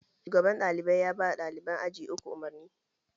Shugaban ɗalibai yaba ɗaliban aji uku umarni